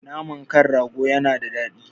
Naman kan rago yana da daɗi